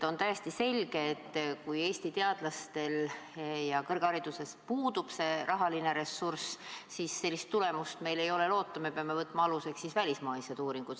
On täiesti selge, et kui Eesti teadlastel ja kõrgharidusel puudub rahaline ressurss, siis ei ole meil sellist tulemust loota, me peame aluseks võtma välismaised uuringud.